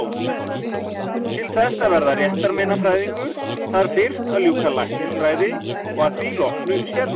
Til þess að verða réttarmeinafræðingur þarf fyrst að ljúka læknisfræði og að því loknu sérnámi.